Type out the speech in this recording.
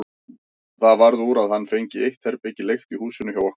Það varð úr að hann fengi eitt herbergi leigt í húsinu hjá okkur.